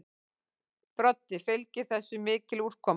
Broddi: Fylgir þessu mikil úrkoma?